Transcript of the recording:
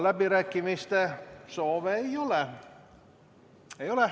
Läbirääkimiste soove ei ole.